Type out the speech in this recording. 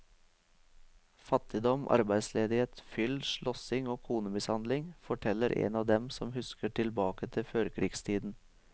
Fattigdom, arbeidsledighet, fyll, slåssing og konemishandling, forteller en av dem som husker tilbake til førkrigstiden.